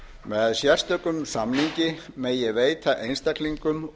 með sérstökum samningi megi veita einstaklingum